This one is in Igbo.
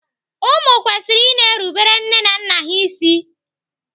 Ụmụ kwesịrị i na-erubere nne na nna ha isi.